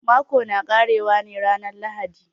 Mako na ƙare wa ne ranan lahadi.